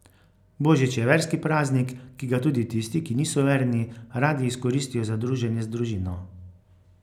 Božič je verski praznik, ki ga tudi tisti, ki niso verni, radi izkoristijo za druženje z družino.